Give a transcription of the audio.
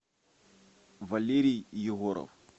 валерий егоров